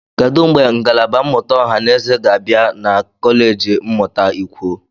Kedu mgbe ngalaba mmụta ọha na eze ga-abịa na kọleji mmụta ikwo?